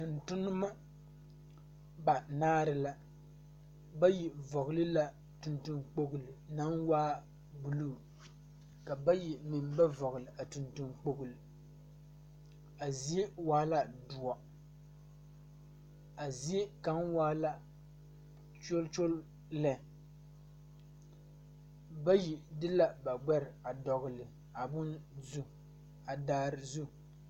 Tontoneba banaare la bayi vɔgle la tontoŋkpoli naŋ waa sunni ka bayi meŋ ba vɔgle a tontoŋkpoli a zie waa la doɔ a zie kaŋa waa la kyolkyole lɛ bayi de la ba gbɛɛ a dɔgle a bone zu a daare zu.